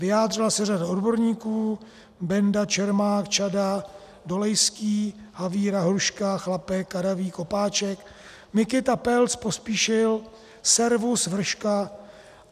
Vyjádřila se řada odborníků, Benda, Čermák, Čada, Dolejský, Havíra, Hruška, Chlapek, Kadavý, Kopáček, Mikita, Pelc, Pospíšil, Servus, Vrška.